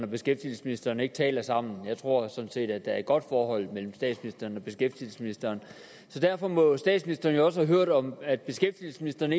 beskæftigelsesministeren ikke taler sammen jeg tror sådan set at der er et godt forhold mellem statsministeren og beskæftigelsesministeren derfor må statsministeren jo også have hørt om at beskæftigelsesministeren